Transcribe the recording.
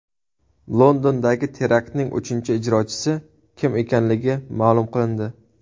Londondagi teraktning uchinchi ijrochisi kim ekanligi ma’lum qilindi.